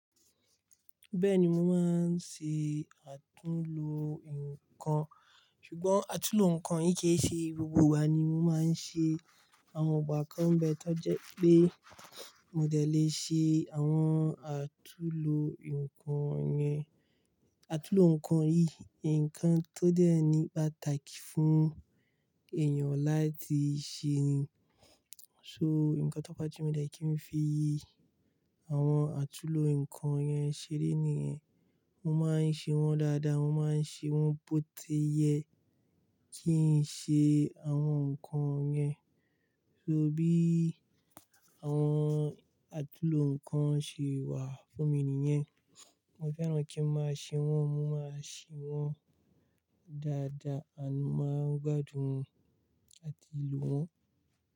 Bẹ́ẹ̀ni, mo máa ń ṣe àtúnlo ǹkan, ṣùgbọ́n àtúnlo ǹkan yí kì í ṣe gbogbo ìgbà ni mo máa ń ṣe. Àwọn ìgbà kan bẹ́ẹ̀ tó jẹ́ pé mo dẹ̀ le ṣe àwọn àtúnlo ǹkan yẹn, àtúnlo ǹkan yí, ǹkan tó dẹ̀ ní pàtàkì fún èèyàn láti ṣe ni. So ǹkan tọ́fà tí mi dẹ̀ kí n fi àwọn àtúnlo ǹkan yẹn ṣeré nìyẹn. Mo máa ń ṣe wọ́n dáadáa, mo máa ń ṣe wọ́n bótiye kí n ṣe àwọn ǹkan yẹn. So bí àwọn àtúnlo ǹkan ṣe wà fún mi nìyẹn. Mo fẹ́ràn kí n máa ṣe wọ́n, mo máa ṣí wọ́n dáadáa, a máa ń gbádùn àti lò wọ́n.